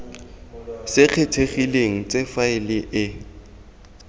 se kgethegileng tse faele e